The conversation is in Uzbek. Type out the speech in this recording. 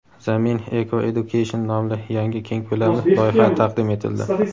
"Zamin Eco-Education" nomli yangi keng ko‘lamli loyiha taqdim etildi.